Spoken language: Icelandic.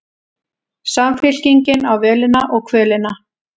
Samfylkingin á völina og kvölina